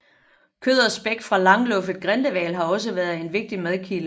Kød og spæk fra langluffet grindehval har også været en vigtig madkilde